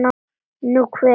Nú, hver?